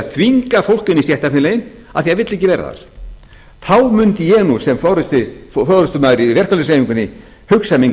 þvinga fólk inn í stéttarfélögin af því að það vill ekki vera þar þá mundi ég nú sem forustumaður í verkalýðshreyfingunni hugsa minn